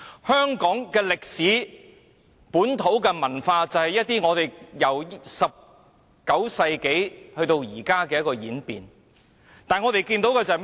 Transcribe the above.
香港的歷史和本土文化，正是由19世紀演變至今，但我們今天看到甚麼呢？